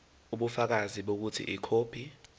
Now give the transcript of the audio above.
ubufakazi bokuthi ikhophi